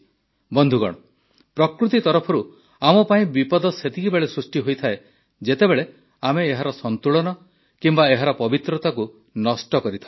ବନ୍ଧୁଗଣ ପ୍ରକୃତି ତରଫରୁ ଆମ ପାଇଁ ବିପଦ ସେତେବେଳେ ସୃଷ୍ଟି ହୋଇଥାଏ ଯେତେବେଳେ ଆମେ ଏହାର ସନ୍ତୁଳନ କିମ୍ବା ଏହାର ପବିତ୍ରତାକୁ ନଷ୍ଟ କରିଥାଉ